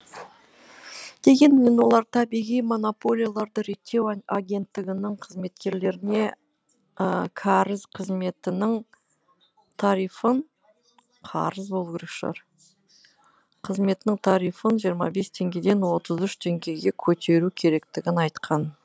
дегенмен олар табиғи монополияларды реттеу агенттігінің қызметкерлері не кәріз қызметінің тарифін жиырма бес теңгеден отыз үш теңгеге көтеру керектігін айтқан